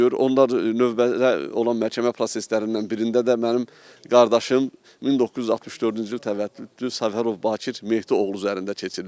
Onlar növbədə olan məhkəmə proseslərindən birində də mənim qardaşım 1964-cü il təvəllüdlüdür Səfərov Bakir Mehdi oğlu üzərində keçiriləcək.